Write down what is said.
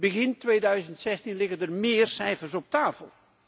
Begin 2016 liggen er meer cijfers op tafel.